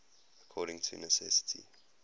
according to necessity